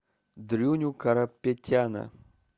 дрюню карапетяна